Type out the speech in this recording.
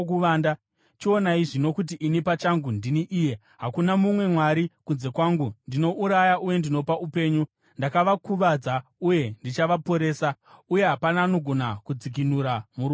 “Chionai zvino kuti ini pachangu ndini Iye! Hakuna mumwe Mwari kunze kwangu, ndinouraya uye ndinopa upenyu, ndakakuvadza uye ndichaporesa, uye hapana anogona kudzikinura muruoko rwangu.